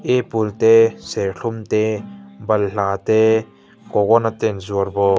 apple te serthlum te balhla te coconut te an zuar bawk.